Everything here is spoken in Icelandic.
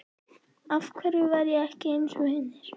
Af hverju var ég ekki einsog hinir?